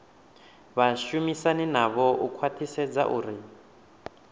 vhashumisani navho u khwathisedza uri